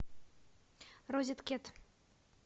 розеткед